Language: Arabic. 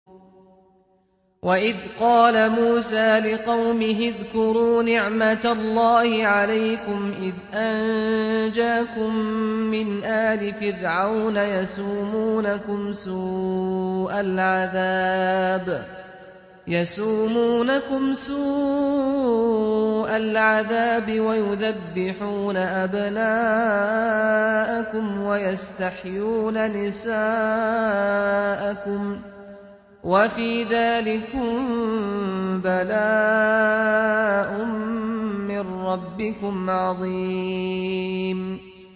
وَإِذْ قَالَ مُوسَىٰ لِقَوْمِهِ اذْكُرُوا نِعْمَةَ اللَّهِ عَلَيْكُمْ إِذْ أَنجَاكُم مِّنْ آلِ فِرْعَوْنَ يَسُومُونَكُمْ سُوءَ الْعَذَابِ وَيُذَبِّحُونَ أَبْنَاءَكُمْ وَيَسْتَحْيُونَ نِسَاءَكُمْ ۚ وَفِي ذَٰلِكُم بَلَاءٌ مِّن رَّبِّكُمْ عَظِيمٌ